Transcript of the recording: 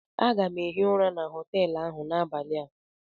Aga m ehi ụra na họteelụ ahụ n'abalị a